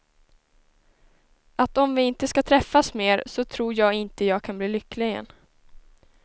Att om vi inte ska träffas mer, så tror jag inte jag kan bli lycklig igen.